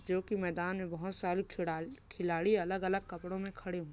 जो की मैदान में बहुत सारी खिड़ाली खिलाड़ी अलग-अलग कपड़ों में खड़े--